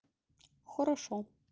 хорошо